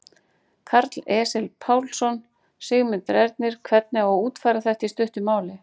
Karl Eskil Pálsson: Sigmundur Ernir, hvernig á að útfæra þetta í stuttu máli?